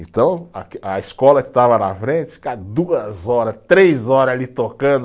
Então, a que, a escola que estava na frente fica duas horas, três horas ali tocando.